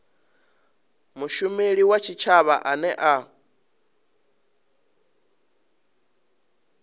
mushumeli wa tshitshavha ane a